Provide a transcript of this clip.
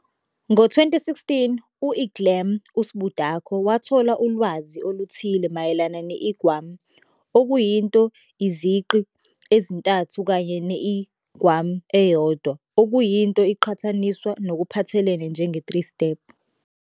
Ngo-2016, u-Iglam u-Sbucardo wathola ulwazi oluthile mayelana ne-Igwam okuyinto izigqi ezintathu kanye ne-Igom eyodwa, okuyinto iqhathaniswa ngokuphathelene njenge-3 Step.